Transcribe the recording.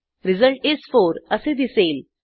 result is 4 असे दिसेल